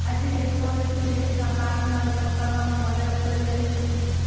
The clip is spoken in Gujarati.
આજે ટેક્નોલાજી દેશ માં કાળુંનાણું પકડવામાં મદદ કરી રહ્યું છે